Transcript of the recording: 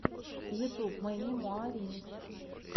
ютюб мэнни муа ремикс